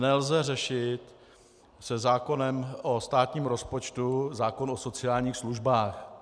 Nelze řešit se zákonem o státním rozpočtu zákon o sociálních službách.